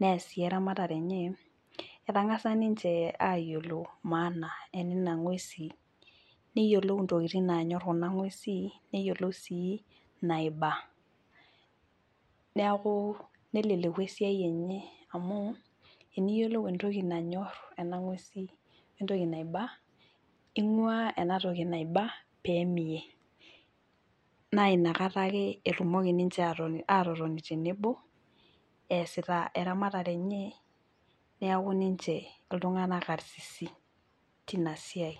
neyas sii eramatare enye naa ketang'asa ninche aayiolou maana enana ng'uesin neyiolou intokitin naanyor kuna ng'uesin wanaiba neleleku naa esiai enye amu tiniyiolou entoki nanyor wenaiba nena ng'uesin naa ing'uaa enatoki naiba pee mie naa inakata etumoki ataas esiai enye aitobiraki neeku ninche itung'anak karsisi.